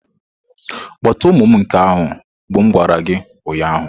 Kpọta ụmụ m nke ahụ bụ m gwara gị ụnyahụ.